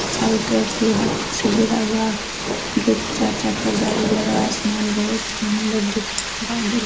चारो तरफ लोहा से घेरा हुआ घे चार चका गाड़ी लगा आसमान बहुत सुंदर दिख रहा है | बादल --